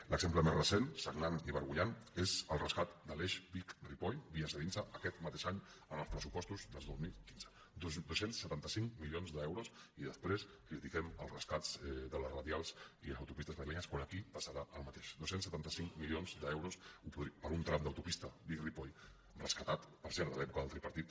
l’exemple més recent sagnant i vergonyant és el rescat de l’eix vic ripoll via cedinsa aquest mateix any en els pressupostos del dos mil quinze dos cents i setanta cinc milions d’euros i després critiquem els rescats de les radials i les autopistes madrilenyes quan aquí passarà el mateix dos cents i setanta cinc milions d’euros per un tram d’autopista vic ripoll rescatat per cert de l’època del tripartit